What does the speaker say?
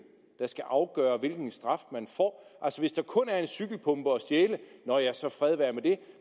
der skal afgøre hvilken straf man får hvis der kun er en cykelpumpe at stjæle nå ja så fred være med det